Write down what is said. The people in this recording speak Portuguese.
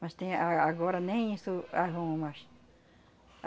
Mas tem a a agora nem isso arrumam mais.